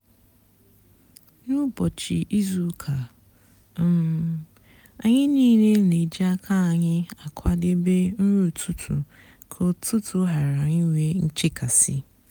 n'úbọchị ízú úkà um ányị nííle nà-èjí ákà ányị àkwádébé nri ụtụtụ kà útútú ghárá ínwé nchekasị.